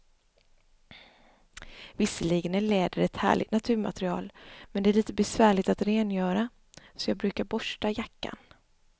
Visserligen är läder ett härligt naturmaterial, men det är lite besvärligt att rengöra, så jag brukar borsta jackan.